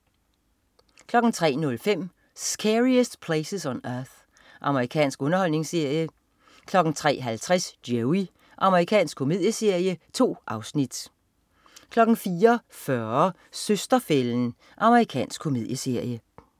03.05 Scariest Places on Earth. Amerikansk underholdningsserie 03.50 Joey. Amerikansk komedieserie. 2 afsnit 04.40 Søster-fælden. Amerikansk komedieserie